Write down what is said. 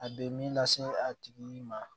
A bɛ min lase a tigi ma